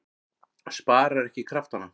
Sparar ekki kraftana.